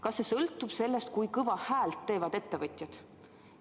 Kas see sõltub sellest, kui kõva häält teevad ettevõtjad?